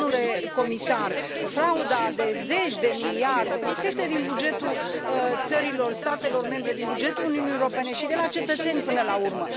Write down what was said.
Domnule comisar, frauda de zeci de miliarde lipsește din bugetul statelor membre, din bugetul Uniunii Europene și de la cetățeni, până la urmă.